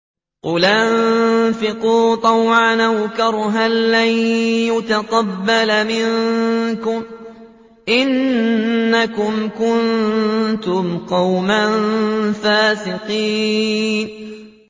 قُلْ أَنفِقُوا طَوْعًا أَوْ كَرْهًا لَّن يُتَقَبَّلَ مِنكُمْ ۖ إِنَّكُمْ كُنتُمْ قَوْمًا فَاسِقِينَ